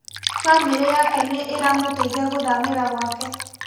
Bamĩri yake nĩĩramũteithia gũthamĩra gwake